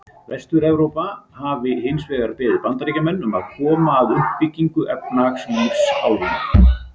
Vestur-Evrópa hafi hins vegar beðið Bandaríkjamenn um að koma að uppbyggingu efnahagslífs álfunnar.